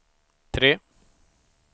tre